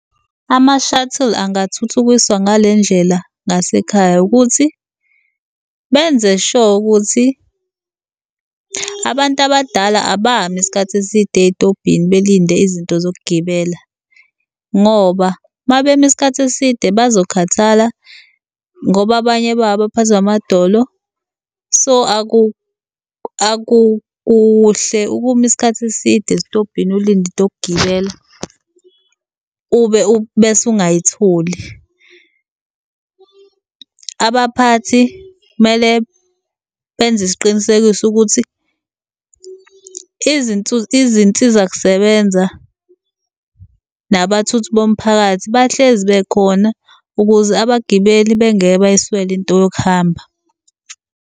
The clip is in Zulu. Ama-shuttle angathuthukiswa ngale ndlela ngasekhaya, ukuthi benze sho ukuthi abantu abadala abami isikhathi eside ey'tobhini belinde izinto zokugibela ngoba mabemi isikhathi eside bazokhathala ngoba abanye babo baphathwa amadolo. So, akukuhle ukuma isikhathi eside esitobhini ulinde into yokugibela bese ungayitholi. Abaphathi kumele benze isiqinisekiso ukuthi , izinsiza kusebenza nabathuthi bomphakathi bahlezi bekhona ukuze abagibeli bengeke bayiswele into yokuhamba.